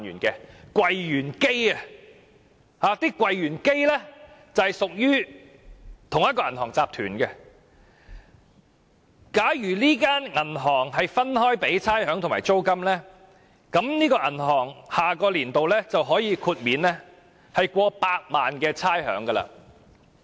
這些櫃員機均屬於同一銀行集團，假如這銀行分開繳付櫃員機的差餉和租金，下年度可豁免超過百萬元的差餉。